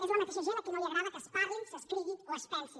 és la mateixa gent a qui no li agrada que es parli s’escrigui o es pensi